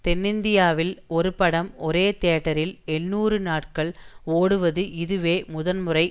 தென்னிந்தியாவில் ஒருபடம் ஒரே தியேட்டரில் எண்ணூறு நாட்கள் ஓடுவது இதுவே முதன்முறை